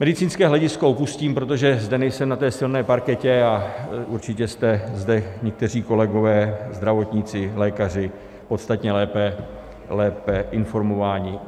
Medicínské hledisko opustím, protože zde nejsem na té silné parketě a určitě jste zde někteří kolegové zdravotníci, lékaři podstatně lépe informováni.